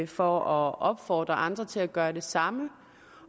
for at opfordre andre til at gøre det samme